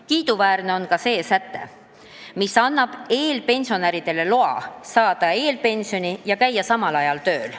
Kiiduväärne on ka see säte, mis annab eelpensionäridele loa saada eelpensioni ja käia samal ajal tööl.